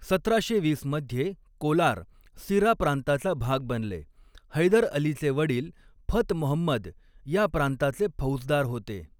सतराशे वीस मध्ये, कोलार सिरा प्रांताचा भाग बनले, हैदर अलीचे वडील फत महंमद या प्रांताचे फौजदार होते.